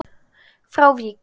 frá Vík.